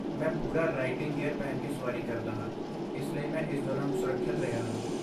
ਮੈਂ ਪੂਰਾ riding gear ਪਹਿਨ ਕੇ ਸਵਾਰੀ ਕਰਦਾ ਹਾਂ, ਇਸ ਲਈ ਮੈਂ ਇਸ ਦੌਰਾਨ ਸੁਰੱਖਿਅਤ ਰਿਹਾ ਹਾਂ।